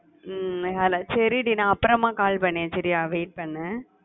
உம் சரி டி நான் அப்பறமா call பண்றேன் wait பண்ணு